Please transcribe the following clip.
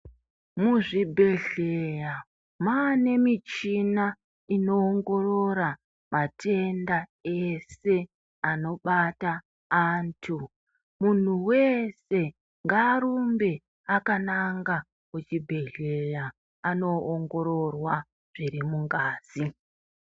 Muzvibhedhleya mwaane michina inoongorora matenda ese anobata antu muntu wese ngaarumbe akananga kuchibhedhleya anoongororwa zviri mungazi.